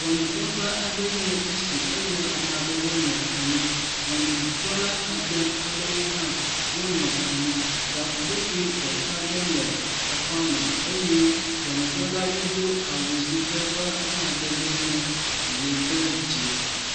Ŋɔnudrɔ̃ƒe aɖee nye esi eye ama ɖewo nɔ anyi. Ŋɔndrɔ̃la ade aɖewo hã wonɔ anyi. Gaƒoɖokui ɖeka ɖe le exɔame eye Ŋɔnudrɔ̃lawo do awu si ke ƒe amadede nye ʋi kple dzẽ.